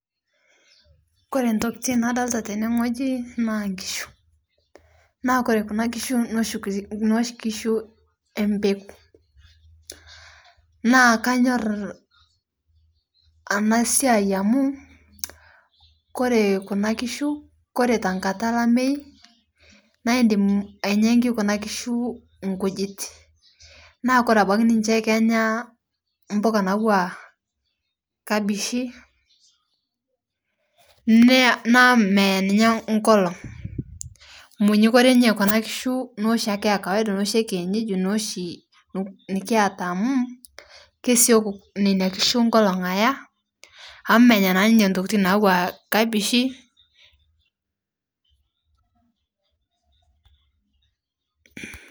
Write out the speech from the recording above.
Kore ntokitin nadolita tenee ng'oji naa nkishu naa kore kuna kishu noshi kishu empekuu naa kanyor anaa siai amu kore kuna kishu kore tankata elamei naa imdim ainyankii kuna kishuu nkujit naa kore abaki ninshee kenyaa mpukaa natuwaa kabishii naa meyaa ninye nkolong' monyunyukpore ninye kuna kishuu noshii akee e kawaida noshi e kienyeji noshii nikiata amu kesioki nenia kishu nkolong' ayaa amu menyaa naa ninye ntokitin natuwaa kabishii